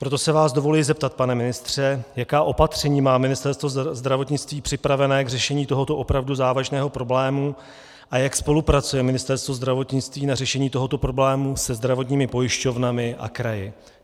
Proto se vás dovoluji zeptat, pane ministře, jaká opatření má Ministerstvo zdravotnictví připraveno k řešení tohoto opravdu závažného problému a jak spolupracuje Ministerstvo zdravotnictví na řešení tohoto problému se zdravotními pojišťovnami a kraji.